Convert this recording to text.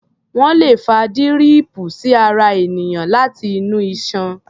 Wọ́́n lè fa díríìpù sí ara ènìyàn láti inú iṣan.